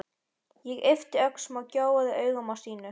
Ég yppti öxlum og gjóaði augunum á Stínu.